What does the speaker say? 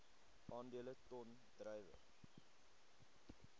aandele ton druiwe